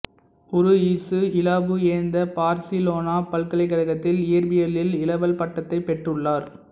உருயிசு இலாபுயெந்தே பார்சிலோனா பல்கலைக்கழகத்தில் இய்ற்பியலில் இளவல் பட்டத்தைப் பெற்றுள்ளார்